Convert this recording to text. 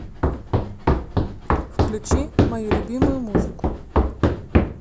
включи мою любимую музыку